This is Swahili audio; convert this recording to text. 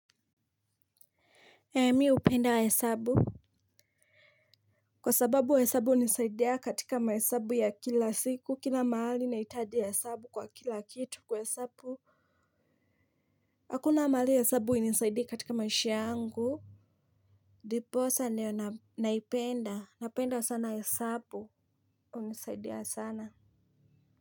Mi hupenda hesabu. Kwa sababu hesabu hunisaidia katika mahesabu ya kila siku, kila mahali naitaji hesabu kwa kila kitu, kuhesabu hakuna mahali hesabu ilinisaidia katika maisha yangu Diposa nio naipenda. Napenda sana. Hesabu. Unisaidia sana.